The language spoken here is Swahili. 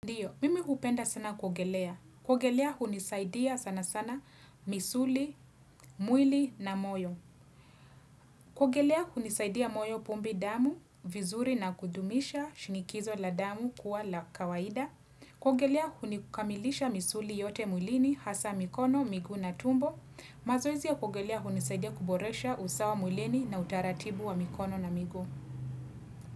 Ndiyo, mimi hupenda sana kuogelea. Kuogelea hunisaidia sana sana misuli, mwili na moyo. Kuogelea hunisaidia moyo pumbi damu, vizuri na kudumisha shinikizo la damu kuwa la kawaida. Kuogelea hunikamilisha misuli yote mwilini, hasa mikono, miguu na tumbo. Mazoezi ya kuogelea hunisaidia kuboresha usawa mwilini na utaratibu wa mikono na miguu.